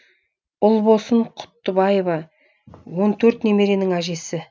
ұлбосын құттыбаева он төрт немеренің әжесі